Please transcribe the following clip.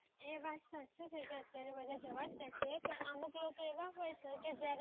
એ વાત સાચી છે અત્યારે બધા જાવજ દે છે પણ અમુક લોકો એવા હોય છે કે જયારે